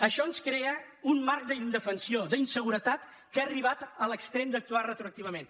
això ens crea un marc d’inde·fensió d’inseguretat que ha arribat a l’extrem d’actuar retroactivament